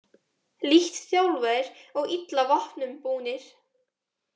Lítt þjálfaðir og illa vopnum búnir